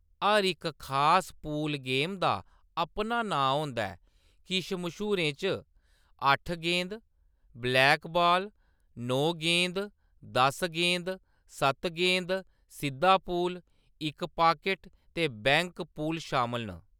हर इक खास pool game दा अपना नांऽ होंदा ऐ ; किश मश्हूरें च अट्ठ गेंद, ब्लैकबॉल, नौ गेंद, दस गेंद, सत्त गेंद, सिद्धा पूल, इक पाकेट, ते बैंक पूल शामल न।